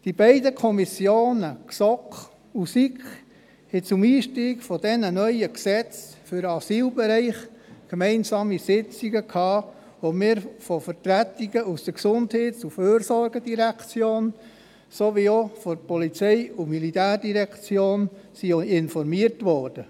Die beiden Kommissionen GSoK und SiK hielten zum Einstieg in diese neuen Gesetze für den Asylbereich gemeinsame Sitzungen ab, an denen wir von Vertretungen der GEF wie auch der POM informiert wurden.